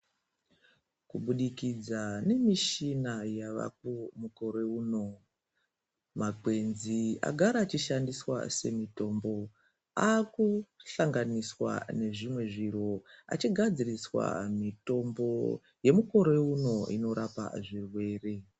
Kubudikidza ngemushina yavako mukore uno makwenzi agara achishandiswa semitombo avekuhlanganiswa nezvimwe zviro achigadziriswa mitombo yemikore uno inorapa zvirwere.